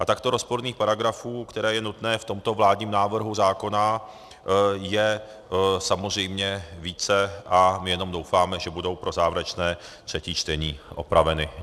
A takto rozporných paragrafů, které je nutné v tomto vládním návrhu zákona, je samozřejmě více, a my jenom doufáme, že budou pro závěrečné třetí čtení opraveny.